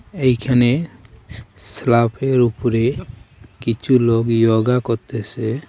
এইখানে স্লাপের উপরে কিছু লোক ইয়োগা করতেসে.